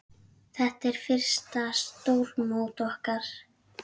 Þetta er fyrsta stórmót okkar.